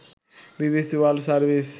BBC world service